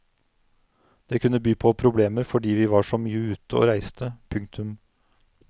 Det kunne by på problemer fordi vi var så mye ute og reiste. punktum